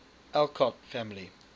alcott family